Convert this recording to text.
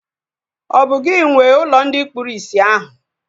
Ọ bụ gị nwee ụlọ ndị kpụrụ isi ahu?